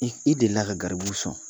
I delila ka garibuw sɔn